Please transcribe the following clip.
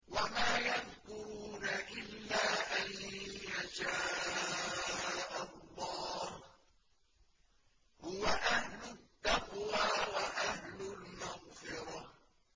وَمَا يَذْكُرُونَ إِلَّا أَن يَشَاءَ اللَّهُ ۚ هُوَ أَهْلُ التَّقْوَىٰ وَأَهْلُ الْمَغْفِرَةِ